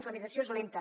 l’administració és lenta